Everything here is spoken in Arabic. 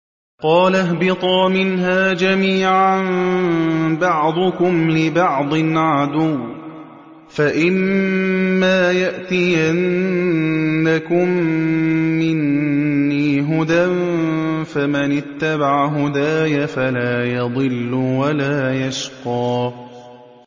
قَالَ اهْبِطَا مِنْهَا جَمِيعًا ۖ بَعْضُكُمْ لِبَعْضٍ عَدُوٌّ ۖ فَإِمَّا يَأْتِيَنَّكُم مِّنِّي هُدًى فَمَنِ اتَّبَعَ هُدَايَ فَلَا يَضِلُّ وَلَا يَشْقَىٰ